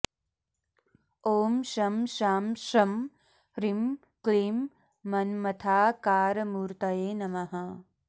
ॐ शं शां षं ह्रीं क्लीं मन्मथाकारमूर्तये नमः